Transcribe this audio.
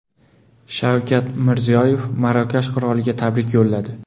Shavkat Mirziyoyev Marokash qiroliga tabrik yo‘lladi.